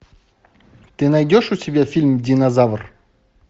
ты найдешь у себя фильм динозавр